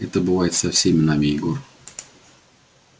это бывает со всеми нами егор